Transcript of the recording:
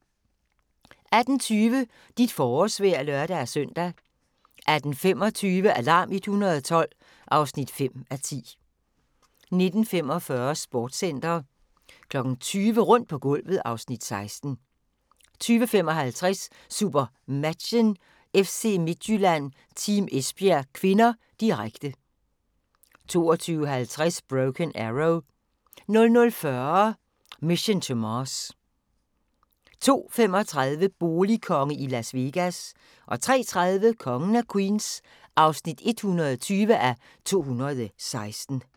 18:20: Dit forårsvejr (lør-søn) 18:25: Alarm 112 (5:10) 19:45: Sportscenter 20:00: Rundt på gulvet (Afs. 16) 20:55: SuperMatchen: FC Midtjylland-Team Esbjerg (k), direkte 22:50: Broken Arrow 00:40: Mission to Mars 02:35: Boligkonge i Las Vegas 03:30: Kongen af Queens (120:216)